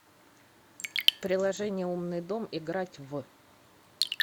приложение умный дом играть в